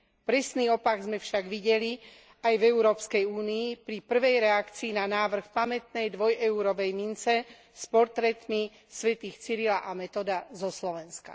Presný opak sme však videli aj v Európskej únii pri prvej reakcii na návrh pamätnej dvoj eurovej mince s portrétmi svätých Cyrila a Metoda zo Slovenska.